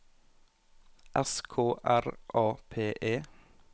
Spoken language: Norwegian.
S K R A P E